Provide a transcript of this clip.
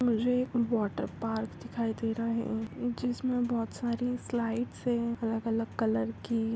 मुझे एक water park दिखाई दे रहा है जिसमे बहुत सारी स्लाइड्स है अलग अलग कलर की|